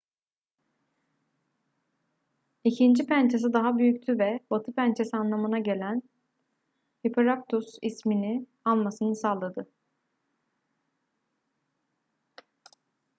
i̇kinci pençesi daha büyüktü ve batı pençesi anlamına gelen hesperonychus ismini almasını sağladı